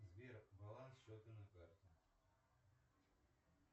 сбер баланс счета на карте